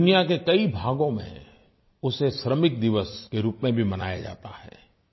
दुनिया के कई भागों में उसे श्रमिक दिवस के रूप में भी मनाया जाता है